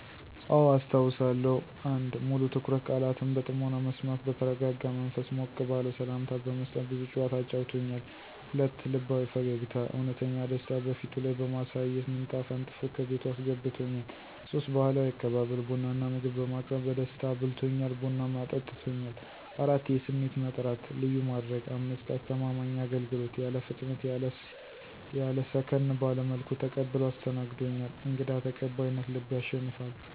**አዎ፣ አስታውሳለሁ!** 1. **ሙሉ ትኩረት** - ቃላትን በጥሞና መስማት በተረጋጋ መንፈስ ሞቅ ባለ ሠላምታ በመስጠት ብዙ ጨዋታ አጫውቶኛል። 2. **ልባዊ ፈገግታ** - እውነተኛ ደስታ በፊቱ ላይ በማሳየት ምንጣፍ አንጥፎ ከቤቱ አስገብቶኛል። 3. **ባህላዊ አቀባበል** - ቡና እና ምግብ በማቅረብ በደስታ አብልቶኛል፣ ቡናም አጠጥቶኛል። 4. **የስሜ መጥራት** - ልዩ ማድረግ 5. **አስተማማኝ አገልግሎት** - ያለ ፍጥነት ያለ ሰከን ባለ መልኩ ተቀብሎ አስተናግዶኛል። > _"እንግዳ ተቀባይነት ልብ ያሸንፋል!"_